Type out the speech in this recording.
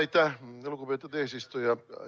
Aitäh, lugupeetud eesistuja!